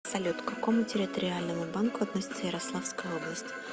салют к какому территориальному банку относится ярославская область